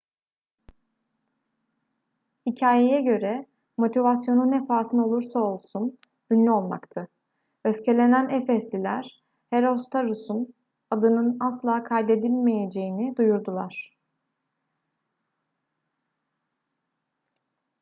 hikayeye göre motivasyonu ne pahasına olursa olsun ünlü olmaktı öfkelenen efesliler herostratus'un adının asla kaydedilmeyeceğini duyurdular